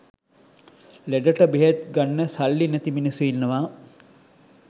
ලෙඩට බෙහෙත් ගන්න සල්ලි නැති මිනිස්සු ඉන්නවා.